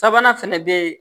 Sabanan fɛnɛ be yen